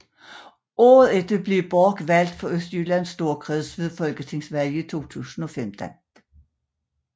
Året efter blev Bork valgt for Østjyllands Storkreds ved Folketingsvalget 2015